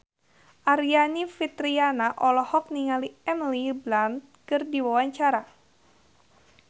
Aryani Fitriana olohok ningali Emily Blunt keur diwawancara